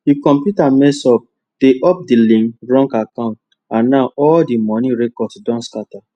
di computer mess up de up de link wrong account and now all di money records don scatter